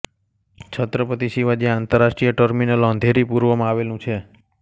છત્રપતિ શિવાજી આંતરરાષ્ટ્રીય ટર્મિનલ અંધેરી પૂર્વમાં આવેલું છે